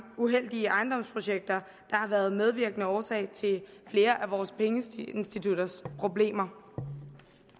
uheldige ejendomsprojekter der har været medvirkende årsag til flere af vores pengeinstitutters problemer